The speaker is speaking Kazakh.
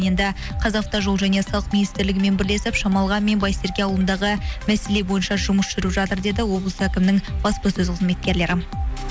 енді қазақстан жол және салық министрлігімен бірлесіп шамалған мен байсерке ауылындағы мәселе бойынша жұмыс жүріп жатыр деді облыс әкімінің баспасөз кызметкерлері